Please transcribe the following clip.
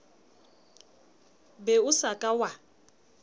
be o sa ka wa